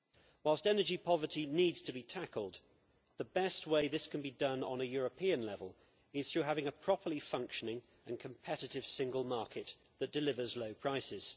Whilst energy poverty needs to be tackled, the best way this can be done on a European level is through having a properly functioning and competitive single market that delivers low prices.